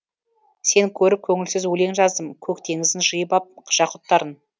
сені көріп көңілсіз өлең жаздым көк теңіздің жиып ап жақұттарын